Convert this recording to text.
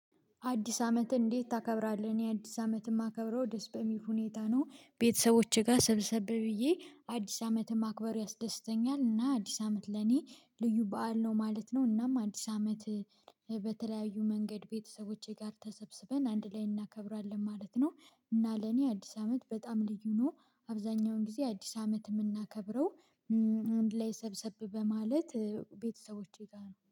አዲስ አመትን እንዴት ታከብራለህ? እኔ አዲስ አመት እማከብረው ደስ በሚል ሁኔታ ነው ቤተሰቦቼ ጋር ሰብሰብ ብዬ አዲስ አመትን ማክበር ያስደስተኛል እና አዲስ አመት ለእኔ ልዩ በዓል ነው ማለት ነው። እናም አዲስ አመት በተለያዩ መንገድ ቤተሰቦቼ ጋር ተሰብስበን አንድ ላይ እናከብራለን ማለት ነው። እና ለእኔ አዲስ አመት በጣም ልዩ ነው። አብዛኛውን ጊዜ አዲስ አመት እምናከብረው ላይ ሰብሰብ በማለት ቤተሰቦቼ ጋር ነው